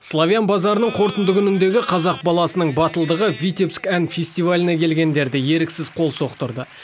славян базарының қорытынды күніндегі қазақ баласының батылдығы витебск ән фестиваліне келгендерді еріксіз қол соқтырды